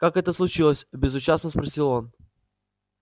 как это случилось безучастно спросил он